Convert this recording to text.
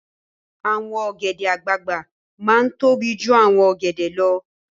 Awòn ògèdè àgbágbá má n tóbí jú áwòn ògèdè lò